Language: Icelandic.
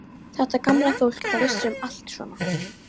Þetta gamla fólk, það vissi um allt svona.